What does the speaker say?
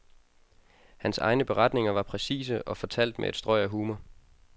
Hans egne beretninger var præcise og fortalt med et strøg af humor.